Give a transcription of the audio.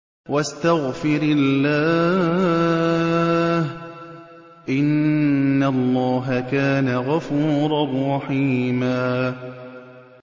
وَاسْتَغْفِرِ اللَّهَ ۖ إِنَّ اللَّهَ كَانَ غَفُورًا رَّحِيمًا